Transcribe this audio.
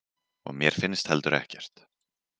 Og mér finnst heldur ekkert.